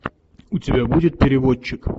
у тебя будет переводчик